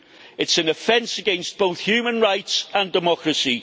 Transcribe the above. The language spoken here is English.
It is an offence against both human rights and democracy.